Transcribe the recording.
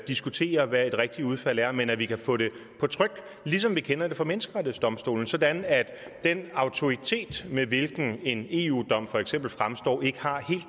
diskutere hvad et rigtigt udfald er men at vi kan få det på tryk ligesom vi kender det fra menneskerettighedsdomstolen sådan at den autoritet med hvilken en eu dom for eksempel fremstår ikke har